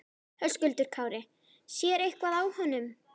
Höskuldur Kári: Sér eitthvað á honum?